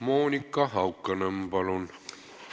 Monika Haukanõmm, palun!